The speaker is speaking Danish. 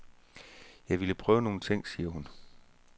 Jeg ville prøve nogle ting, siger hun.